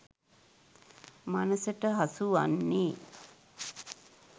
මනසට හසු වන්නේ